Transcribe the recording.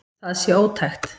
Það sé ótækt.